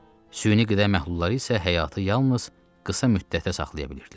süni qidə məhlulları isə həyatı yalnız qısa müddətə saxlaya bilirdilər.